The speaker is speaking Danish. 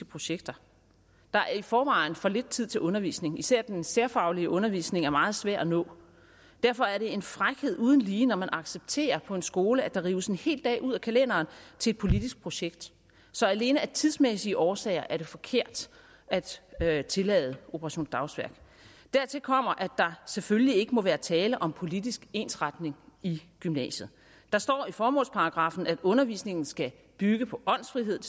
projekter der er i forvejen for lidt tid til undervisning især er den særfaglige undervisning meget svær at nå derfor er det en frækhed uden lige når man accepterer på en skole at der rives en hel dag ud af kalenderen til et politisk projekt så alene af tidsmæssige årsager er det forkert at tillade operation dagsværk dertil kommer at der selvfølgelig ikke må være tale om politisk ensretning i gymnasiet der står i formålsparagraffen at undervisningen skal bygge på åndsfrihed